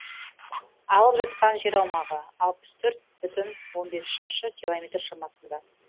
алып жатқан жер аумағы алпыс төрт бүтін он бес шаршы километр шамасында